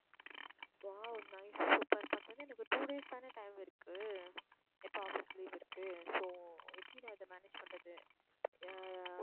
wow nice super but வந்து எனக்கு two days தானே time இருக்கு இப்போ office leave இருக்கு so எப்படி நான் இதை manage பண்ணுறது ஆஹ்